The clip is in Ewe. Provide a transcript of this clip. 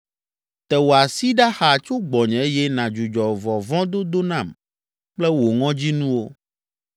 Te wò asi ɖa xaa tso gbɔnye eye nàdzudzɔ vɔvɔ̃dodo nam kple wò ŋɔdzinuwo.